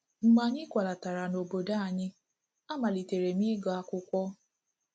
Mgbe anyị kwalatara n’obodo anyị, a malitere m ịga akwụkwọ.